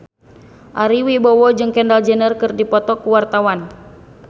Ari Wibowo jeung Kendall Jenner keur dipoto ku wartawan